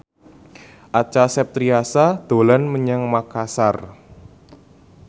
Acha Septriasa dolan menyang Makasar